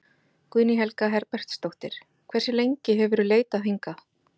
Guðný Helga Herbertsdóttir: Hversu lengi hefurðu leitað hingað?